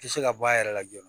Tɛ se ka bɔ a yɛrɛ la joona